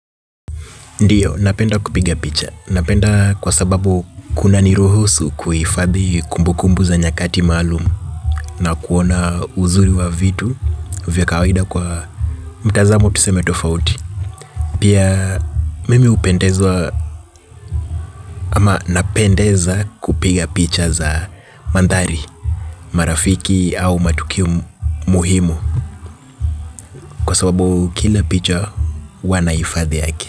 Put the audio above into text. Ndiyo, napenda kupiga picha. Napenda kwa sababu kuna niruhusu kuhifadhi kumbukumbu za nyakati maalum na kuona uzuri wa vitu vya kawaida kwa mtazamo tuseme tofauti. Pia mimi hupendezwa ama napendeza kupiga picha za mandhari, marafiki au matukio muhimu kwa sababu kila picha huwa nahifadhi yake.